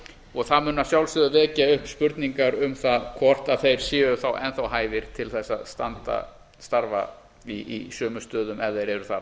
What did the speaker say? og það mun að sjálfsögðu vekja upp spurningar um það hvort þeir séu þá enn þá hæfir til þess að starfa í sömu stöðum ef þeir eru þar